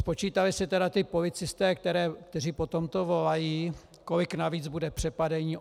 Spočítali si tedy ti policisté, kteří po tomto volají, kolik navíc bude přepadení?